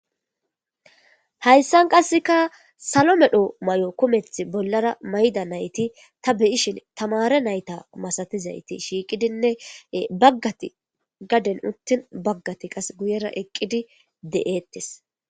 Hayssan qasseka salo medho may'o kumeth bollara mayda nayti ta beyishin tamare nayta masatizayti shiiqidinne baggati gaden uttin baggati qas guyera eqqidi de'eettes.